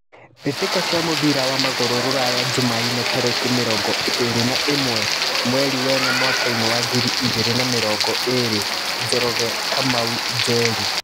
Mbĩtĩka cia mũbira wa magũrũ Ruraya Jumaine tarĩki mĩrongo ĩrĩ na ĩmwe mweri wena mwakainĩ wa ngiri igĩrĩ na mĩrongo ĩrĩ Njoroge, Kamau, Njeri.